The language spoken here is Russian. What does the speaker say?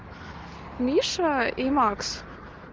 миша и макс